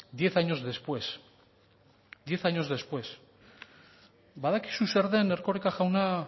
diez años después diez años después badakizu zer den erkoreka jauna